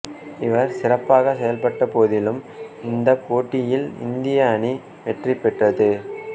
இவர் சிறப்பாகச் செயல்பட்ட போதிலும் இந்தப் போட்டியில் இந்திய அணி வெற்றி பெற்றது